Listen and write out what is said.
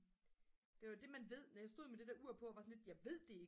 det var det man ved når jeg stod med det der ur på og var sådan lidt jeg ved det